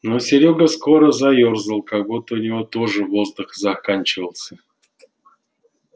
но серёга скоро заёрзал как будто у него тоже воздух заканчивался